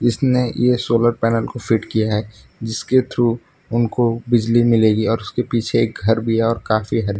इसने ये solar panel को फिट किया है जिसके थ्रू उनको बिजली मिलेगी और उसके पीछे घर भी और काफी हद --